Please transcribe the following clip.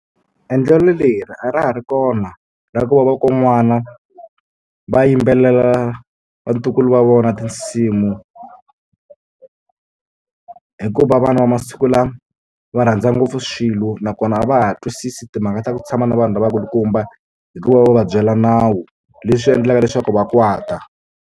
Endlelo leri a ra ha ri kona ra ku va va kon'wana va yimbelela vatukulu va vona tinsimu hikuva vana va masiku lama va rhandza ngopfu swilo nakona a va ha twisisi timhaka ta ku tshama na vanhu lavakulukumba hikuva va va va byela nawu leswi endlaka leswaku va kwata.